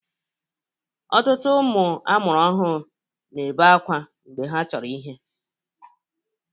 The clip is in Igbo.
Ọtụtụ ụmụ amụrụ ọhụrụ na-ebebe akwa mgbe ha chọrọ ihe.